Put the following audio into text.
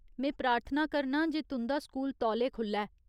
में प्रार्थना करनां जे तुं'दा स्कूल तौले खुलै।